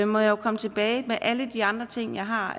må jeg jo komme tilbage med alle de andre ting jeg har